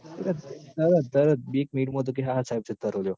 તરત બી જ minute માં તો કે હા હા સાહેબ જતા રો લ્યો